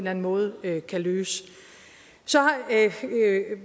anden måde kan løse så